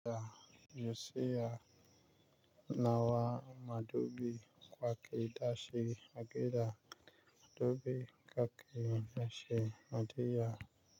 Ya yusiya nawa madubi kwake dashi a gida. Madubi kake dashi a diya.